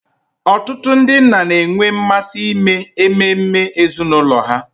Ọtụtụ ndị nna na-enwe mmasị ime ememe ezinụlọ ha.